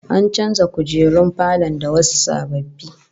An canza kujerun falon da wasu sababbi